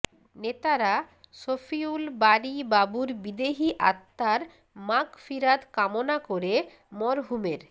নেতারা শফিউল বারী বাবুর বিদেহী আত্মার মাগফিরাত কামনা করে মরহুমের